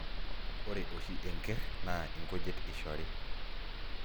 Ore oshi enkerr naa inkujit ishori